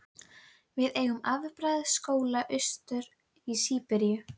Við eigum afbragðs skóla austur í Síberíu.